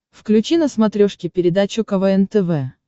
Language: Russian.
включи на смотрешке передачу квн тв